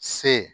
Se